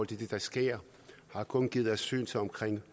det der sker har kun givet asyl til omkring